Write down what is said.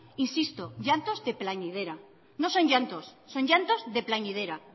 insisto llantos de plañidera no son llantos son llantos de plañidera